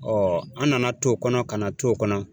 Ɔ an nana t'o kɔnɔ kana t'o kɔnɔ